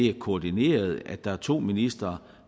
er koordineret eller der er to ministre